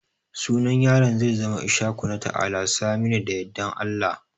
sunan yaran zai zama Ishaku, Nata'ala, Saminu da Yadda Allah